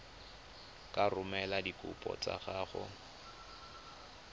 ka romela dikopo tsa gago